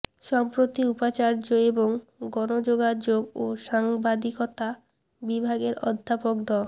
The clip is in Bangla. সম্প্রতি উপাচার্য এবং গণযোগাযোগ ও সাংবাদিকতা বিভাগের অধ্যাপক ড